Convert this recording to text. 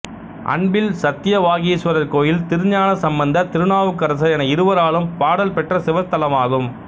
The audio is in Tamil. அன்பில் சத்தியவாகீஸ்வரர் கோயில் திருஞான சம்பந்தர் திருநாவுக்கரசர் என இருவராலும் பாடல்பெற்ற சிவத்தலமாகும்